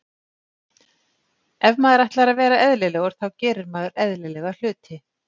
Ef maður ætlar að vera eðlilegur þá gerir maður eðlilega hluti.